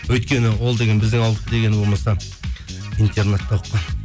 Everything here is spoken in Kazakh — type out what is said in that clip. өйткені ол деген біздің ауылдікі дегені болмаса интернатта оқыған